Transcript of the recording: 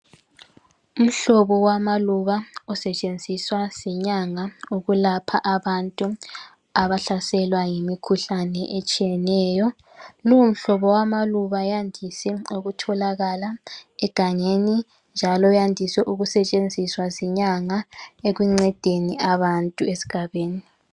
Umhlobo wamaluba osetshenziswa zinyanga ukwelapha abantu abahlaselwa yimikhuhlane etshiyeneyo . Lomhlobo wamaluba wandise ukutholakala egangeni njalo uyandise ukusebenziswa zinyanga ekuncedeni abantu esigabeni.